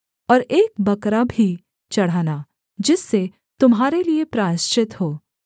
और एक बकरा भी चढ़ाना जिससे तुम्हारे लिये प्रायश्चित हो